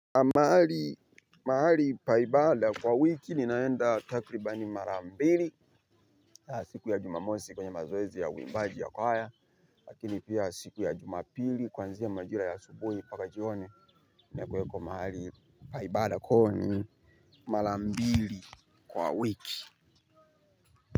Mahali pa ibada kwa wiki ninaenda takribani marambili. Siku ya jumamosi kwenye mazoezi ya wimbaji wa kwahaya. Lakini pia siku ya jumapili kwanziya majira ya asubuhi paka jihoni na kuwekwa mahali pa ibada kwa hiyo ni marambili kwa wiki.